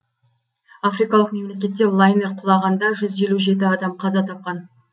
африкалық мемлекетте лайнер құлағанда жүз елу жеті адам қаза тапқан